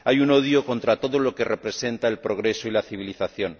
Hay un odio contra todo lo que representa el progreso y la civilización.